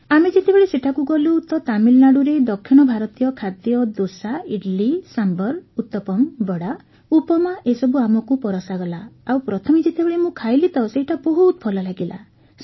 ଆମେ ଯେତେବେଳେ ସେଠାକୁ ଗଲୁ ତ ତାମିଲନାଡୁରେ ଦକ୍ଷିଣ ଭାରତୀୟ ଖାଦ୍ୟ ଦୋସା ଇଡ୍ଲି ସାମ୍ଭର୍ ଉତ୍ତପମ୍ ବଡ଼ା ଉପମା ଏସବୁ ଆମକୁ ପରଷାଗଲା ଆଉ ପ୍ରଥମେ ଯେତେବେଳେ ମୁଁ ଖାଇଲି ତ ସେଇଟା ବହୁତ ଭଲ ଲାଗିଲା